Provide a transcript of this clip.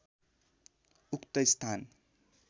उक्त स्थान